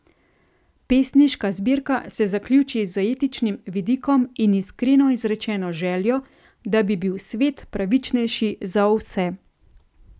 Pesniška zbirka se zaključi z etičnim vidikom in iskreno izrečeno željo, da bi bil svet pravičnejši za vse.